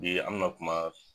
Bi an mi na kuma